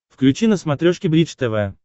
включи на смотрешке бридж тв